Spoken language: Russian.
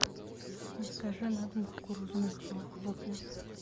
закажи на дом кукурузные хлопья